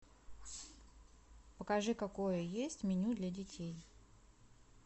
покажи какое есть меню для детей